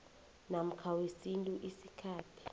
namkha wesintu isikhathi